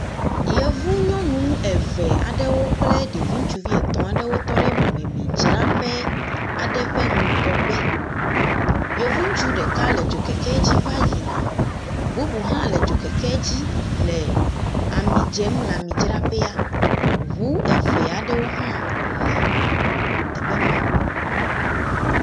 Yevu nyɔnu eve aɖewo kple ɖevi ŋutsuvi etɔ aɖewo tɔ ɖe mɔmemi dzreƒe aɖe ƒe ŋgɔgbe, yevu ŋutsu ɖeka le dzokeke dzi va yi na, bubu hã le dzokeke dzi le ami dzem le ami dzraƒea, ŋu eve aɖewo hã le teƒe me